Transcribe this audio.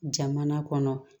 Jamana kɔnɔ